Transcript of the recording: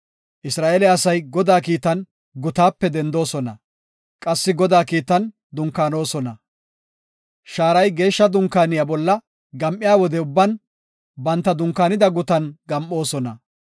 Isra7eele asay Godaa kiitan gutaape dendoosona; qassi Godaa kiitan dunkaanosona. Shaaray Geeshsha Dunkaaniya bolla gam7iya wode ubban banta dunkaanida gutan gam7oosona.